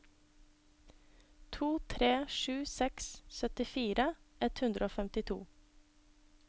to tre sju seks syttifire ett hundre og femtito